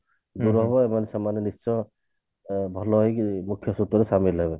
ସେମାନେ ନିଶ୍ଚୟ ଅ ଭଲ ହେଇକି ମୁଖ୍ୟ ସ୍ରୋତରେ ସାମିଲ ହେବେ